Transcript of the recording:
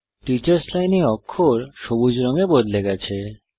teachers লাইনে অক্ষর সবুজ রঙে বদলে গেছে